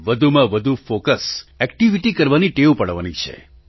વધુમાં વધુ focus activity કરવાની ટેવ પાડવાની છે